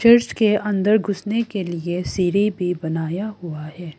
Church के अंदर घुसने के लिए सीढ़ी भी बनाया हुआ है।